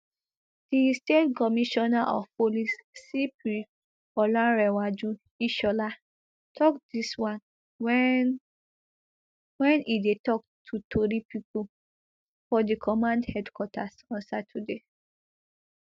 di state commissioner of police cp olarenwaju ishola tok dis one wen wen e dey tok to tori pipo for di command headquarters on saturday